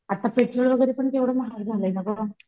आत्ता पेट्रोल वगैरे पण केवढं महाग झालंय ना गं